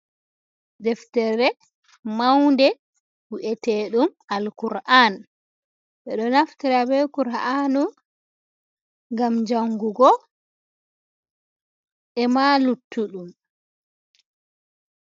Deftere maunde wi’ete ɗum alkur'an ɓe ɗo naftira be kura'anu ngam jangugo ema luttu ɗum.